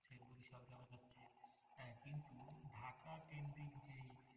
ঢাকা তিনদিক যে